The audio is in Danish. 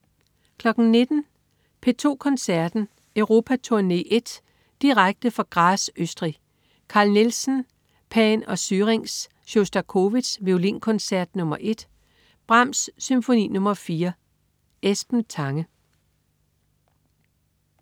19.00 P2 Koncerten. Europaturne I, direkte fra Graz, Østrig. Carl Nielsen: Pan og Syrinx. Sjostakovitj: Violinkoncert nr. 1. Brahms: Symfoni nr. 4. Esben Tange